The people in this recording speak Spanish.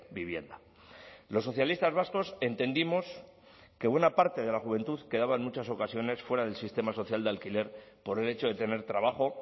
vivienda los socialistas vascos entendimos que buena parte de la juventud quedaba en muchas ocasiones fuera del sistema social de alquiler por el hecho de tener trabajo